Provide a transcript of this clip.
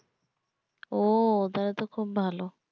ও তাহলে তো খুব ভালো